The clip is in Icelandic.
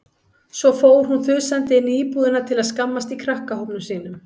Svo fór hún þusandi inn í íbúðina til að skammast í krakkahópnum sínum.